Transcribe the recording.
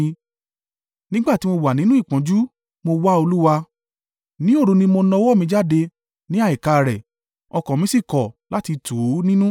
Nígbà tí mo wà nínú ìpọ́njú, mo wá Olúwa; ní òru ni mo na ọwọ́ mi jáde ní àìkáárẹ̀ ọkàn mí sì kọ̀ láti tù ú nínú.